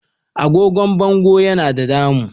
Agogon bango Yana da damuu.